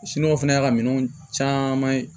fɛnɛ y'a ka minɛnw caman ye